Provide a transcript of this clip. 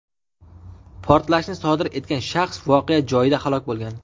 Portlashni sodir etgan shaxs voqea joyida halok bo‘lgan.